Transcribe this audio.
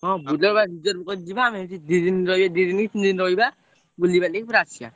ହଁ Bolero ବା reserve କରି ଯିବା ଆମେ ସେଠି ଦି ଦିନି ରହିବା ଦି ଦିନିକି ତିନି ଦିନି ରହିବା ବୁଲିବାଲି ପୁରା ଆସିଆ।